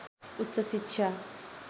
उच्च शिक्षा